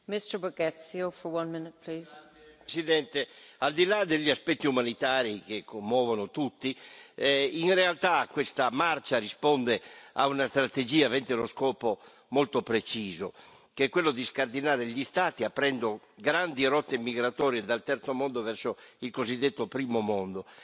Signora Presidente, onorevoli colleghi, al di là degli aspetti umanitari che commuovono tutti, in realtà questa marcia risponde a una strategia avente uno scopo molto preciso, che è quello di scardinare gli Stati aprendo grandi rotte migratorie dal terzo mondo verso il cosiddetto primo mondo.